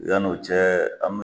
Yann'o cɛ an mina